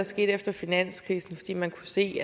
skete efter finanskrisen fordi man kunne se